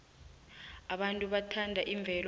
abantu bathanda imvelo